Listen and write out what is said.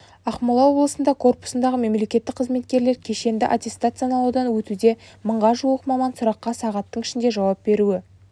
ақмола облысында корпусындағы мемлекеттік қызметкерлер кешенді аттестациялаудан өтуде мыңға жуық маман сұраққа сағаттың ішінде жауап беруі